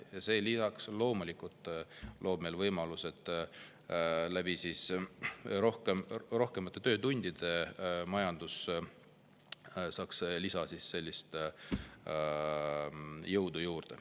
Ja see loomulikult loob meile lisaks võimaluse, et rohkemate töötundide kaudu saaks majandus jõudu juurde.